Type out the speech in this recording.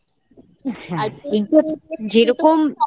হ্যাঁ যেরকম